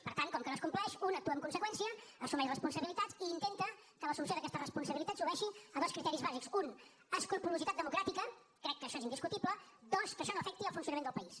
per tant com que no es compleix un actua en conseqüència assumeix responsabilitats i intenta que l’assumpció d’aquestes responsabilitats obeeixi a dos criteris bàsics un escrupolositat democràtica crec que això és indiscutible dos que això no afecti el funcionament del país